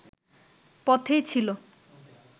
পথেই ছিল